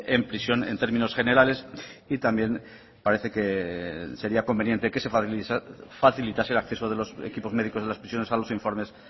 en prisión en términos generales y también parece que sería conveniente que se facilitase el acceso de los equipos médicos de las prisiones a los informes